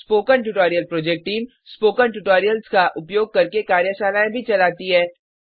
spoken tutorial project team spoken tutorials का उपयोग करके कार्यशालाएँ भी चलाती है